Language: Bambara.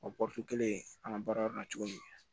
O kelen an ka baara kɛ cogo min